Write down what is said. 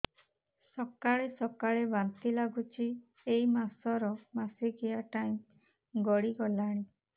ସକାଳେ ସକାଳେ ବାନ୍ତି ଲାଗୁଚି ଏଇ ମାସ ର ମାସିକିଆ ଟାଇମ ଗଡ଼ି ଗଲାଣି